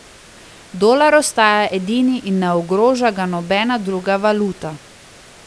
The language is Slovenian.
Dolar ostaja edini in ne ogroža ga nobena druga valuta.